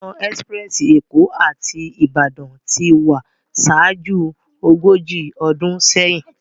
Òná èspirèsi Ékó áti Ibadan ti wá ṣájú ógóji ódún séyin